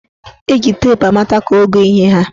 Eji teepu amata ka ogo ihe haa.